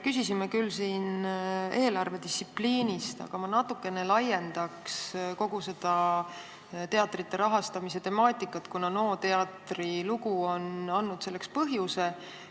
Küsisime küll siin eelarvedistsipliini kohta, aga ma natuke laiendaks kogu seda teatrite rahastamise temaatikat, kuna NO teatri lugu on andnud selleks põhjuse.